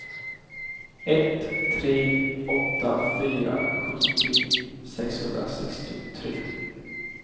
ett tre åtta fyra sjuttio sexhundrasextiotre